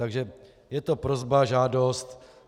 Takže je to prosba, žádost.